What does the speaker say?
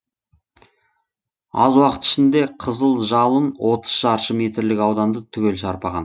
аз уақыт ішінде қызыл жалын отыз шаршы метрлік ауданды түгел шарпыған